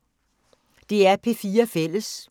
DR P4 Fælles